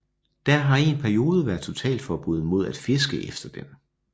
Der har i en periode været totalforbud mod at fiske efter den